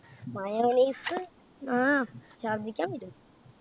mayonnaise ആഹ് ഷർധിക്കാൻ വരും.